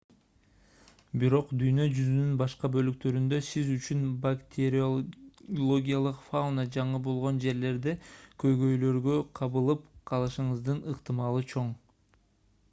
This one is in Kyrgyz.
бирок дүйнө жүзүнүн башка бөлүктөрүндө сиз үчүн бактериологиялык фауна жаңы болгон жерлерде көйгөйлөргө кабылып калышыңыздын ыктымалы чоң